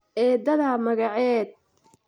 Eedada magaced?